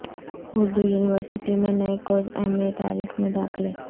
Urdu university میں نئے course M A تاریخ میں داخلے